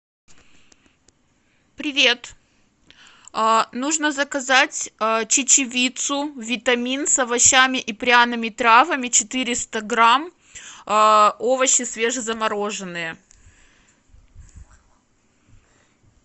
привет нужно заказать чечевицу витамин с овощами и пряными травами четыреста грамм овощи свежезамороженные